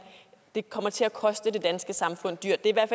det kommer til at koste det danske samfund dyrt vil jeg